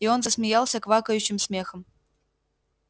и он засмеялся квакающим смехом